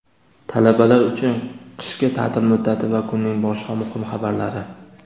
talabalar uchun qishki ta’til muddati va kunning boshqa muhim xabarlari.